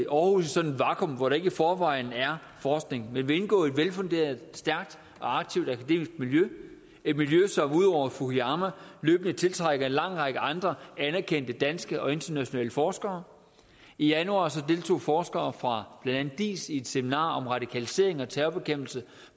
aarhus i sådan et vakuum hvor der ikke i forvejen er forskning men vil indgå i et velfunderet stærkt og aktivt akademisk miljø et miljø som udover fukuyama løbende tiltrækker en lang række andre anerkendte danske og internationale forskere i januar deltog forskere fra blandt andet diis i et seminar om radikalisering og terrorbekæmpelse